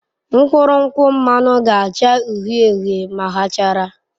Mkpụrụ nkwụ mmanụ ga-acha uhie uhie ma ha chara.